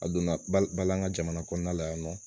A donna bal an ŋa jamana kɔnɔna la yan nɔ